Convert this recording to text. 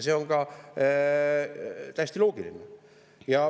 See on ka täiesti loogiline.